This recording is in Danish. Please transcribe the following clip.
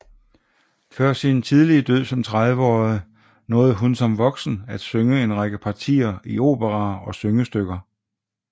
Før sin tidlige død som 30 årig nåede hun som voksen at synge en række partier i operaer og syngestykker